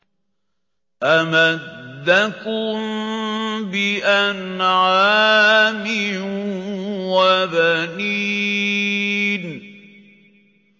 أَمَدَّكُم بِأَنْعَامٍ وَبَنِينَ